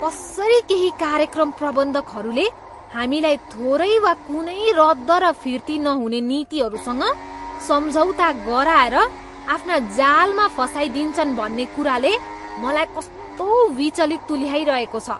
कसरी केही कार्यक्रम प्रबन्धकहरूले हामीलाई थोरै वा कुनै रद्द र फिर्ती नहुने नीतिहरूसँग सम्झौता गराएर आफ्ना जालमा फसाइदिन्छन् भन्ने कुराले मलाई कस्तो विचलित तुल्याइरहेको छ।